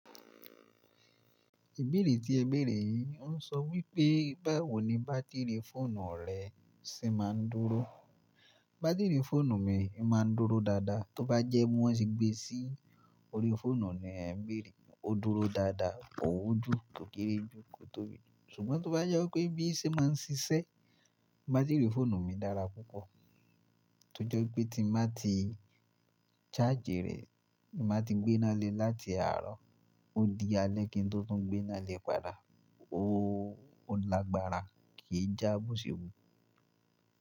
Ìbéèrè tí ẹ béèrè yìí ń sọ wípé, báwo ni bátìrì fóònù rẹ ṣe máa ń dúró? Bátìrì fóònù mi máa ń dúró dáadáa. Tóbá jẹ́ bó ti gbé sí orí fóònù ni ẹ béèrè, ó dúró dáadáa, kò wu jú, kò kéré ju kó tóbi. Ṣùgbọ́n tó bá jẹ́ pé bí ẹ ṣe máa ń ṣiṣẹ́, bátìrì fóònù mi dára púpọ̀. Tójẹ wipé tí bàá ti ṣáàjì rẹ̀, màá ti gbé náà lé láti àárọ̀ ó di alẹ́ kí n tó tún gbé náà lé padà. Ó lágbára, kì í já boṣewu.